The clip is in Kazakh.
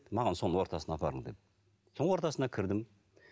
маған соның ортасына апарың дедім соның ортасына кірдім